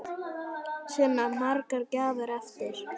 Sunna: Margar gjafir eftir?